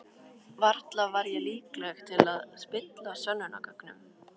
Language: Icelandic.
Varla var ég líkleg til að spilla sönnunargögnum.